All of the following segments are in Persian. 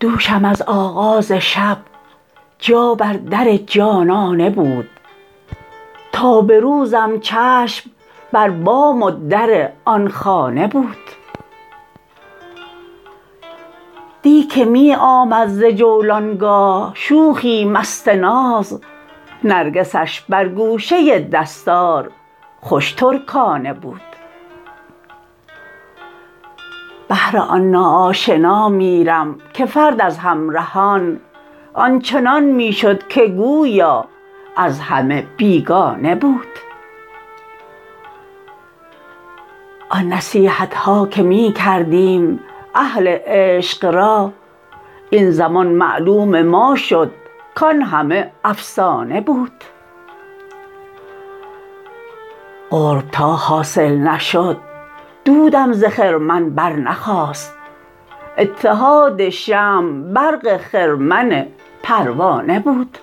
دوشم از آغاز شب جا بر در جانانه بود تا به روزم چشم بر بام و در آن خانه بود دی که می آمد ز جولانگاه شوخی مست ناز نرگسش بر گوشه دستار خوش ترکانه بود بهر آن نا آشنا می رم که فرد از همرهان آنچنان می شد که گویا از همه بیگانه بود آن نصیحتها که می کردیم اهل عشق را این زمان معلوم ما شد کان همه افسانه بود قرب تا حاصل نشد دودم ز خرمن برنخاست اتحاد شمع برق خرمن پروانه بود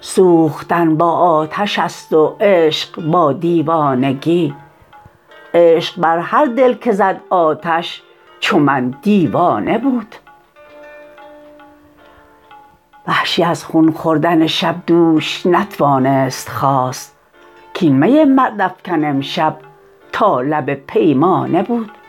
سوختن با آتش است و عشق با دیوانگی عشق بر هر دل که زد آتش چو من دیوانه بود وحشی از خون خوردن شب دوش نتوانست خاست کاین می مرد افکن امشب تا لب پیمانه بود